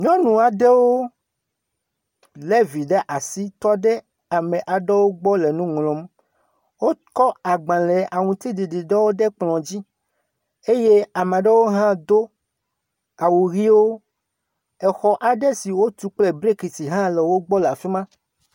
Nyɔnu aɖewo le vi ɖe asi tɔ ɖe ame aɖewo gblɔ le nu ŋlɔm. Wokɔ agbalẽ aŋutiɖiɖi ɖewo le kplɔ̃ dzi eye ame aɖewo hã do awu ʋiwo. Xɔ aɖewo wotu kple brikisihã le afi ma.